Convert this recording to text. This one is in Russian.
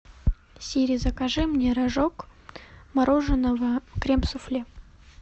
сири закажи мне рожок мороженого крем суфле